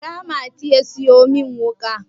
kira mati ya siyo min wuka!